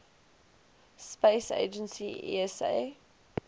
space agency esa